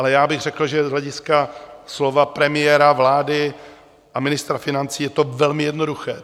Ale já bych řekl, že z hlediska slov premiéra vlády a ministra financí je to velmi jednoduché.